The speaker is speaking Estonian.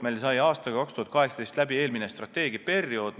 Meil sai aastal 2018 läbi eelmine strateegiaperiood.